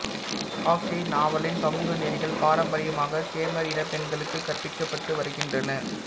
காக்கெ நாவலின் சமூக நெறிகள் பாரம்பரியமாகக் கெமர் இனப் பெண்களுக்குக் கற்பிக்கப்பட்டு வருகின்றன